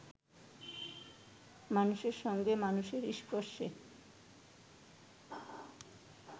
মানুষের সঙ্গে মানুষের স্পর্শে